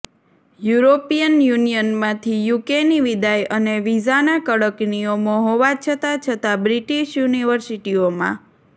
European યુનિયનમાંથી યુકેની વિદાય અને વિઝાના કડક નિયમો હોવા છતાં છતાં બ્રિટિશ યુનિવર્સિટીઓમાં